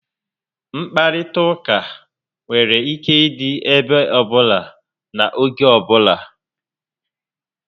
Nkparịta ụka nwere ike ịdị ebe ọbụla na n'oge ọbula